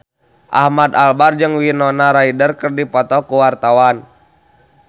Ahmad Albar jeung Winona Ryder keur dipoto ku wartawan